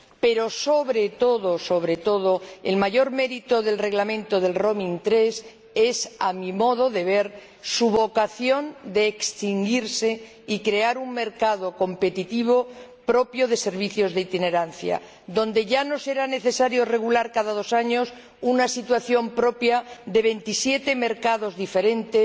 Pero, sobre todo, el mayor mérito del Reglamento Roaming 3 es —a mi modo de ver— su vocación de extinguirse y crear un mercado competitivo propio de servicios de itinerancia, donde ya no será necesario regular cada dos años una situación propia de veintisiete mercados diferentes,